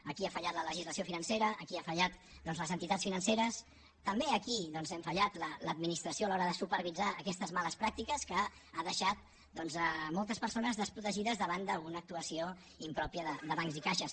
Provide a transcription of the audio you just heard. aquí ha fallat la legislació financera aquí han fallat les entitats financeres també aquí hem fallat l’administració a l’hora de supervisar aquestes males pràctiques que han deixat moltes persones desprotegides davant d’una actuació impròpia de bancs i caixes